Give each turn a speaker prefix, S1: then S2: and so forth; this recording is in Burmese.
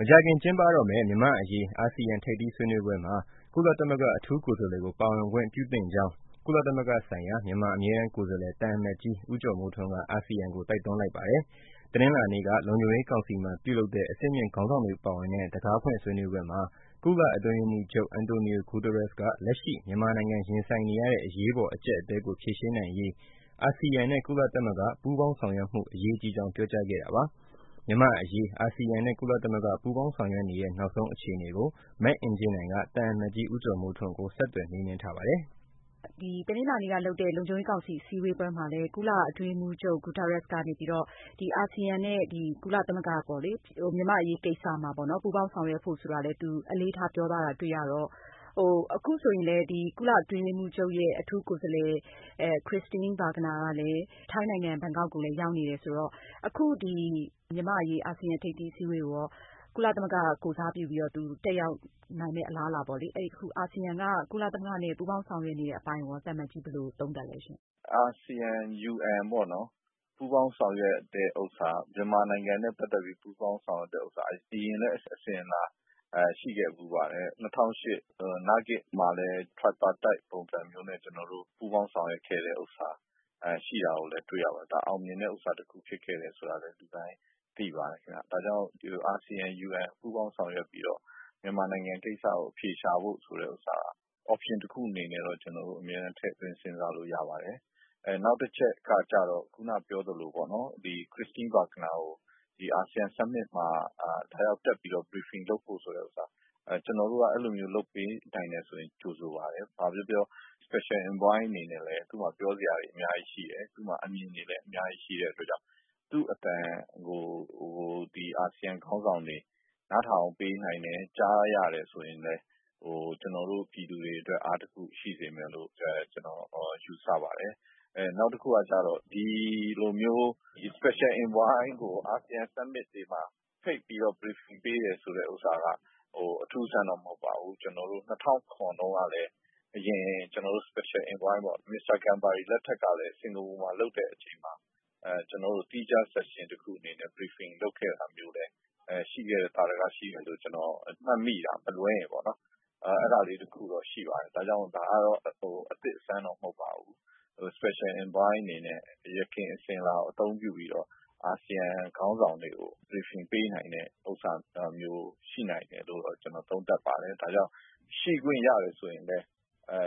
S1: မကြာခင်ကျင်းပတော့မယ့် မြန်မာ့အရေး အာဆီယံ ထိပ်သီးဆွေးနွေးပွဲမှာ ကုလသမဂ္ဂ အထူးကိုယ်စားလှယ်ကို ပါဝင်ခွင့်ပြုသင့်ကြောင်း ကုလသမဂ္ဂဆိုင်ရာ မြန်မာအမြဲတမ်းကိုယ်စားလှယ် သံအမတ်ကြီး ဦးကျော်မိုးထွန်းက အာဆီယံကို တိုက်တွန်းလိုက်ပါတယ်။ တနင်္လာနေ့က လုံခြုံရေးကောင်စီမှာပြုလုပ်တဲ့ အဆင်မြင့်ခေါင်းဆောင်တွေပါဝင်တဲ့ တံခါးဖွင့် ဆွေးနွေးပွဲမှာ ကုလ အတွင်းရေးမှူးချုပ် António Guterres က လက်ရှိ မြန်မာနိုင်ငံရင်ဆိုင်နေရတဲ့ အရေးပေါ် အကြပ်အတည်းကို ဖြေရှင်းနိုင်ရေးအာဆီယံနဲ့ ကုလသမဂ္ဂပူးပေါင်းဆောင်ရွက်မှု အရေးကြီးကြောင်း ပြောကြားခဲ့တာပါ။ မြန်မာ့အရေး အာဆီယံနဲ့ ကုလသမဂ္ဂ ပူးပေါင်းဆောင်ရွက်နေတဲ့ နောက်ဆုံးအခြေအနေကို မအင်ကြင်းနိုင်က သံအမတ်ကြီး ဦးကျော်မိုးထွန်းကို ဆက်သွယ်မေးမြန်းထားပါတယ်။
S2: တနင်္လာနေ့ကလုပ်တဲ့ လုံခြုံရေးကောင်စီ ဆွေးနွေးပွဲမှာ ကုလ အတွင်းရေးမှူးချုပ် Guterres က အာဆီယံနဲ့ ကုလသမဂ္ဂ မြန်မာ့အရေးကိစ္စမှာ ပူးပေါင်းဆောင်ရွက်ဖို့ အလေးထားပြောထားတာတွေ့ရတော့ အခုဆိုရင်လည်း ကုလ အတွင်းရေးမှူးချုပ်ရဲ့ အထူးကိုယ်စားလှယ် Christine Schraner Burgener ကလည်း ထိုင်းနိုင်ငံ ဘန်ကောက်ကိုလည်း ရောက်နေတယ်ဆိုတော့ အခုဒီ မြန်မာ့အရေး အာဆီယံ ထိပ်သီးအစည်းအဝေးကိုရော ကုလသမဂ္ဂ ကိုယ်စားပြုပြီးတော့ တက်ရောက်နိုင်မယ့်အလားအလာပေါ့လေ၊ အခု အာဆီယံက ကုလသမဂ္ဂနဲ့ ပူးပေါင်းဆောင်ရွက်နေတဲ့အပိုင်းရော သံအမတ်ကြီး ဘယ်လိုသုံးသပ်သလဲရှင့်။
S3: အာဆီယံ UN ပေါ့နော် မြန်မာနိုင်ငံနဲ့ ပတ်သက်ပြီး ပူးပေါင်းဆောင်ရွက်တာက အဆင်အလာရှိခဲ့ဖူးပါတယ်။ ၂၀၀၈ နာဂစ်မှာလည်း ကျနော်တို့ ပူးပေါင်းဆောင်ရွက်ခဲ့တဲ့ဥစ္စာရှိတာလည်း တွေ့ရပါတယ်။ ဒါ အောင်မြင်မှုဖြစ်ခဲ့တယ်ဆိုတာလည်း လူတိုင်းသိပါတယ်။ အာဆီယံ UN ပူးပေါင်းဆောင်ရွက်ပြီးတော့ မြန်မာနိုင်ငံကိစ္စကို အဖြေရှာဖို့ဆိုတဲ့ဥစ္စာ option တခုအနေနဲ့တော့ ကျနေ်ာတို့ ထည့်သွင်းစဉ်းစားလို့ရပါတယ်။ နောက်တချက်ကတော့ ခုနပြောသလိုပေါ့နော် Christine Schraner Burgener ကို အာဆီယံ ထိပ်သီးအစည်းအဝေးမှာ တက်ပြီးတော့ Briefing လုပ်ဖို့ဆိုတဲ့ဥစ္စာ ။ ကျနော်တို့က အဲလို လုပ်ပေးနိုင်တယ်ဆိုရင် ကြိုဆိုပါတယ် ဘာပဲပြောပြော အထူးကိုယ်စားလှယ် အနေနဲ့လည်း သူ့မှာ ပြောစရာတွေ အများကြီးရှိတယ်။ အမြင်တွေလည်းအများကြီးရှိတဲ့အတွက် သူ့အသံကို အာဆီယံ ခေါင်းဆောင်တွေ နားထောင်ပေးနိုင်တယ် ကြားရတယ်ဆိုရင် ကျနော်တို့ ပြည်သူတွေအတွက် အားတခုရှိမယ်လို့ ကျနေ်ာတို့ ယူဆပါတယ်။ နောက်တခုကျတော့ special envoy ကို အာဆီယံ summit တွေမှာ ဖိတ်ပြီးတော့ briefing ပေးတယ်ဆိုတဲ့ဟာက အထူးအဆန်းတော့ မဟုတ်ပါဘူး။ ကျနော်တို့ ၂၀၀၇ တုန်းကလည်း အရင် special envoy ဆိုရင် Mr. Gambari လက်ထက်တုန်းကလည်း Singapore မှာ ကျနော်တို့ သီးခြား section တခုအနေနဲ့ briefing လုပ်ခဲ့တာမျိုးလည်း သာဓက ရှိတယ်လို့ ကျနော်မှတ်မိတယ် မလွဲရင်ပေ့ါနော်။ အဲဒါလေးတခု ရှိပါတယ် ဒါကြောင့် ဒါက အသစ်အဆန်းတော့ မဟုတ်ပါဘူး။ special envoy အနေနဲ့ ယခင်အစဉ်အလာကို အသုံးပြုပြီးတော့ အာဆီယံ ခေါင်းဆောင်တွေကို briefing ပေးနိုင်တဲ့ဟာမျိုး ရှိနိုင်တယ်လို့ ကျနော်သုံးသပ်ပါတယ်။ ဒါကြောင့် ရှိခွင့်ရတယ်ဆိုရင်လည်း